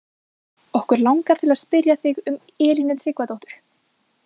Okkur langar til að spyrja þig um Elínu Tryggvadóttur?